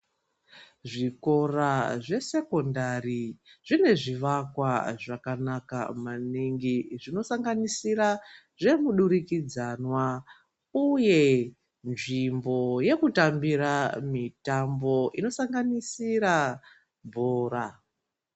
Zvikora zvesecondari zvine zvivakwa zvakanaka maningi, zvinosanganisira zvemudurikidzwana ,uye nzvimbo yekutambira mitambo inosanganisira bhora.